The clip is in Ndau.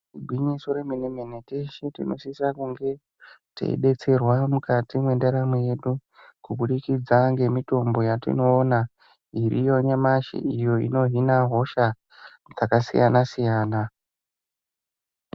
Igwinyiso remene-mene teshe tinosisa kunge teidetserwa mukati mwendaramo yedu kubudikidza ngemitombo yatinoona iriyo nyamashi iyo inohina hosha dzakasiyana-siyana.